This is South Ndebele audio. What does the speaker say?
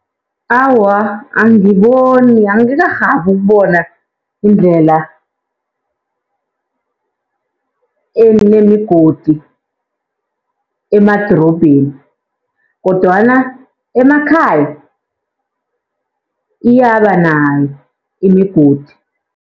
Awa, angiboni angikarhabi ukubona indlela enemigodi emadorobheni, kodwana emakhaya iyaba nayo imigodi.